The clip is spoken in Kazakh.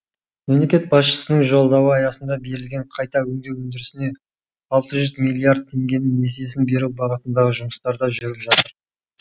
мемлекет басшысының жолдауы аясында берілген қайта өңдеу өндірісіне алты жүз миллиард теңгенің несиесін беру бағытындағы жұмыстар да жүріп жатыр